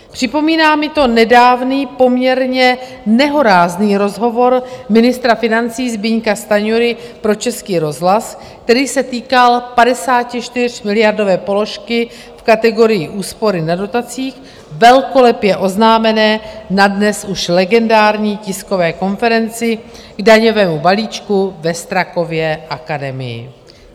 Připomíná mi to nedávný, poměrně nehorázný rozhovor ministra financí Zbyňka Stanjury pro Český rozhlas, který se týkal 54miliardové položky v kategorii úspory na dotacích, velkolepě oznámené na dnes už legendární tiskové konferenci k daňovému balíčku ve Strakově akademii.